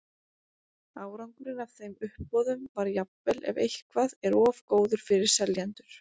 Árangurinn af þeim uppboðum var jafnvel ef eitthvað er of góður fyrir seljendur.